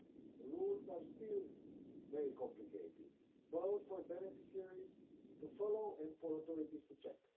The rules are still very complicated, both for beneficiaries to follow and for authorities to check.